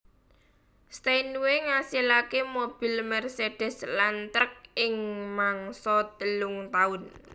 Steinway ngasilake mobil Mercedes lan truk ing mangsa telung taun